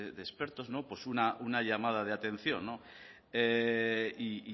de expertos una llamada de atención y